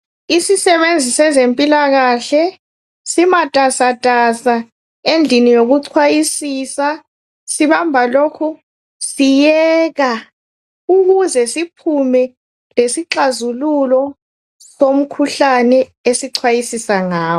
Isisebenzi sezempilakahle simatasatasa endlini yokuchwayisisa. Sibamba lokhu siyeka, ukuze siphume lesixazululo somkhuhlane esichwayisisa ngawo.